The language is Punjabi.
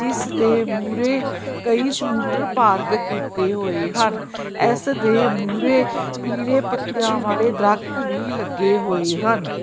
ਇਸ ਦੇ ਮੂਹਰੇ ਕਈ ਸਕੂਟਰ ਪਾਰਕ ਕੀਤੇ ਹੋਏ ਹਨ ਇਸ ਦੇ ਮੂਹਰੇ ਪੀਲੇ ਪੱਤਿਆਂ ਵਾਲੇ ਦਰਖਤ ਵੀ ਲੱਗੇ ਹੋਏ ਹਨ।